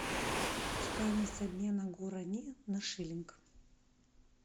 стоимость обмена гуарани на шиллинг